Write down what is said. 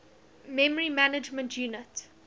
memory management unit